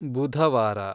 ಬುಧವಾರ